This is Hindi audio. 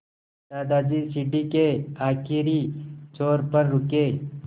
दादाजी सीढ़ी के आखिरी छोर पर रुके